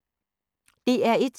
DR1